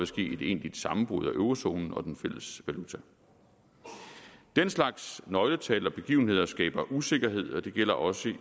ske et egentligt sammenbrud af eurozonen og den fælles valuta den slags nøgletal og begivenheder skaber usikkerhed og det gælder også i